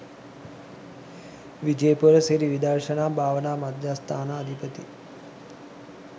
විජයපුර සිරි විදර්ශනා භාවනා මධ්‍යස්ථානාධිපති